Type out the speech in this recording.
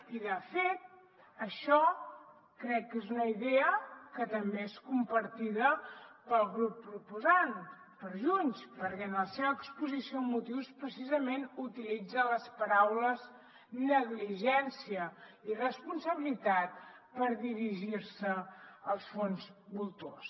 i de fet això crec que és una idea que també és compartida pel grup proposant per junts perquè en la seva exposició de motius precisament utilitza les paraules negligència i irresponsabilitat per dirigir se als fons voltors